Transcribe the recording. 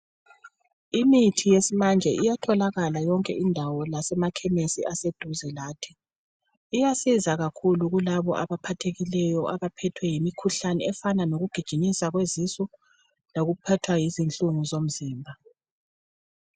imithi yesimanje iyatholakala yonke indawo lasemakhemisi aseduze lathi. Iyasiza kakhulu kulabo abaphathekileyo abaphethwe yimikhuhlane efana lokugijinyiswa kwezisu lokuphatha yizinhlungu zomzimba,